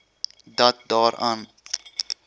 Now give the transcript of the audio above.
dat daar aan